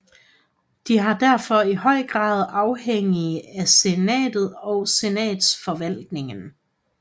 De er derfor i høj grad afhængige af senatet og senatsforvaltningen